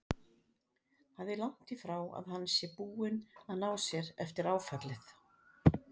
Það er langt í frá að hann sé búinn að ná sér eftir áfallið.